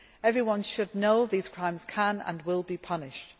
Everyone should know that these crimes can and will be punished.